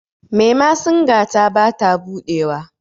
memasinga ta ba ta buɗewa